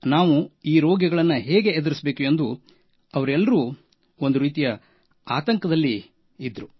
ನಾವು ಈ ರೋಗಿಗಳನ್ನು ಹೇಗೆ ಎದುರಿಸಬೇಕು ಎಂದು ಅವರಲ್ಲೂ ಒಂದು ರೀತಿಯ ಆತಂಕದ ವಾತಾವರಣವಿತ್ತು